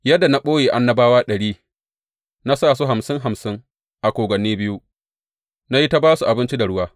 Yadda na ɓoye annabawa ɗari, na sa su hamsin hamsin a kogwanni biyu, na yi ta ba su abinci da ruwa.